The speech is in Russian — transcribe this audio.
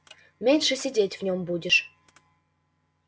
меньше сидеть в нем будешь